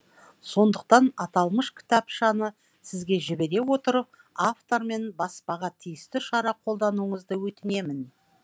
сондықтан аталмыш кітапшаны сізге жібере отырып автормен баспаға тиісті шара қолдануыңызды өтінемін